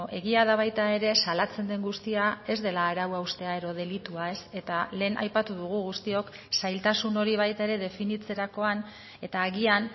egia da baita ere salatzen den guztia ez dela arau haustea edo delitua eta lehen aipatu dugu guztiok zailtasun hori baita ere definitzerakoan eta agian